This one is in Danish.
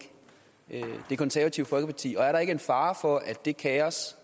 det konservative folkeparti og er der ikke en fare for at det kaos